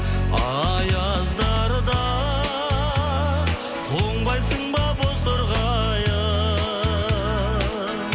аяздарда тоңбайсың ба бозторғайым